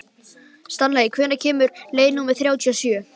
Stanley, hvenær kemur leið númer þrjátíu og sjö?